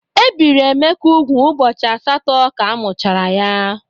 Ebiri Emeka úgwù ụbọchị asatọ ka amuchara ya.